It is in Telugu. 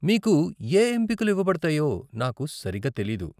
మీకు ఏ ఎంపికలు ఇవ్వబడతాయో నాకు సరిగ్గా తెలీదు.